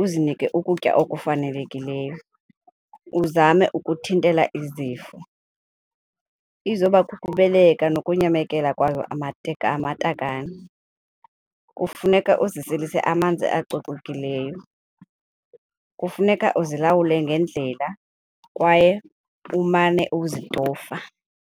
uzinike ukutya okufanelekileyo, uzame ukuthintela izifo. Izoba kukubeleka nokunyamekela kwazo amatakane, kufuneka uziselise amanzi acocekileyo, kufuneka uzilawule ngendlela kwaye umane uzitofa.